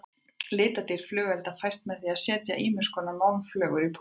Litadýrð flugelda fæst með því að setja ýmiskonar málmflögur í púðrið.